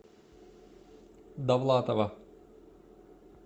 давлатова